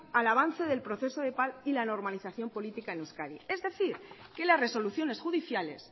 al avance del proceso de paz y la normalización política en euskadi es decir que las resoluciones judiciales